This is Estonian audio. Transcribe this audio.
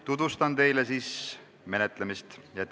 Tutvustan teile selle menetlemist.